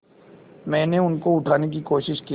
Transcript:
मैंने उनको उठाने की कोशिश की